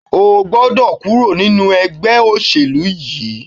O gbọ́dọ̀ kúrò nínu ẹgbẹ́ òṣèlú yìí!